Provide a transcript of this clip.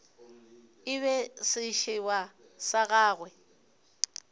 e be sešeba sa gagwe